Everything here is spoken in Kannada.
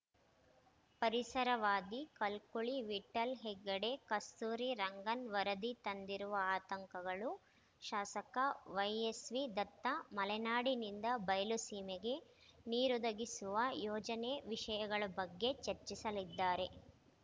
ಪರಿಸರವಾದಿ ಕಲ್ಕುಳಿ ವಿಠ್ಠಲ್‌ ಹೆಗಡೆ ಕಸ್ತೂರಿ ರಂಗನ್‌ ವರದಿ ತಂದಿರುವ ಅತಂಕಗಳು ಶಾಸಕ ವೈಎಸ್‌ವಿ ದತ್ತ ಮಲೆನಾಡಿನಿಂದ ಬಯಲುಸೀಮೆಗೆ ನೀರೊದಗಿಸುವ ಯೋಜನೆ ವಿಷಯಗಳ ಬಗ್ಗೆ ಚರ್ಚಿಸಲಿದ್ದಾರೆ